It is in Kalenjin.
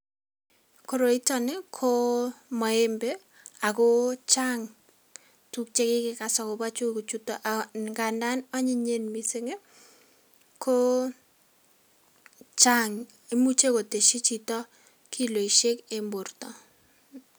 Koroitoni ko maembe ako chang tuk che kikekas akobo tukuchuto ,ngandan anyiyen mising ii, ko chang imuche kotesyi chito kiloisiek eng borta.